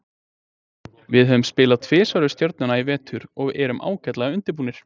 Við höfum spilað tvisvar við Stjörnuna í vetur og erum ágætlega undirbúnir.